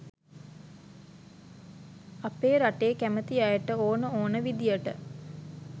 අපේ රටේ කැමති අයට ඕන ඕන විදිහට